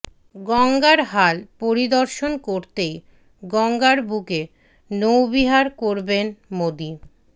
গঙ্গার হাল পরিদর্শন করতেই গঙ্গার বুকে নৌবিহার করবেন মোদি